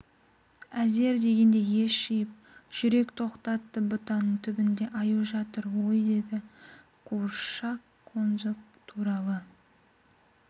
әзер дегенде ес жиып жүрек тоқтатты бұтаның түбінде аю жатыр ой деді қуыршақ қонжық туралы